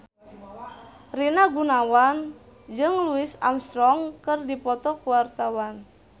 Rina Gunawan jeung Louis Armstrong keur dipoto ku wartawan